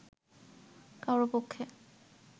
কারও পক্ষে